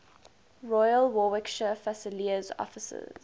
royal warwickshire fusiliers officers